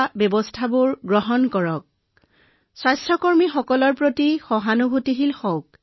আৰু এটা কথা অনুগ্ৰহ কৰি ফ্ৰণ্টলাইন কৰ্মী আৰু পেছাদাৰীসকলৰ প্ৰতি সহানুভূতি প্ৰদৰ্শন কৰক